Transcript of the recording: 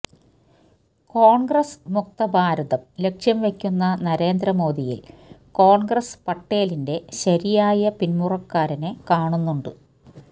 കോണ്ഗ്രസ്മുക്ത ഭാരതം ലക്ഷ്യംവയ്ക്കുന്ന നരേന്ദ്രമോദിയില് കോണ്ഗ്രസ് പട്ടേലിന്റെ ശരിയായ പിന്മുറക്കാരനെ കാണുന്നുണ്ട്